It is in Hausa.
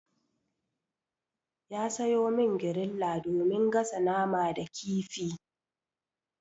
Ya sayo min griller domin gasa nama da kifi.